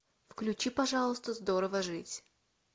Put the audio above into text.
включи пожалуйста здорово жить